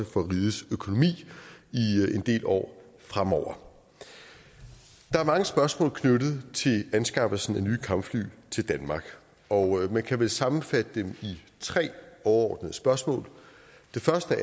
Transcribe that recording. for rigets økonomi i en del år fremover der er mange spørgsmål knyttet til anskaffelsen af nye kampfly til danmark og man kan vel sammenfatte dem i tre overordnede spørgsmål det første